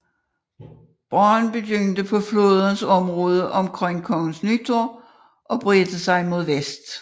Branden begyndte på flådens område omkring Kongens Nytorv og bredte sig mod vest